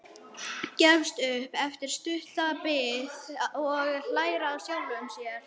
Gefst upp eftir stutta bið og hlær að sjálfum sér.